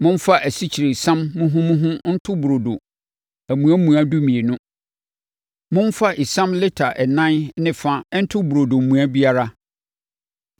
“Momfa asikyiresiam muhumuhu nto burodo amuamua dumienu. Momfa esiam lita ɛnan ne fa nto burodo mua biara.